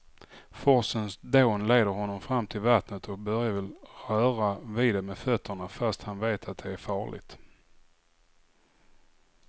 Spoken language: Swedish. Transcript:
Forsens dån leder honom fram till vattnet och Börje vill röra vid det med fötterna, fast han vet att det är farligt.